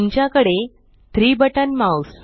तुमच्याकडे 3 button mouse